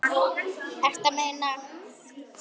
Ertu að meina.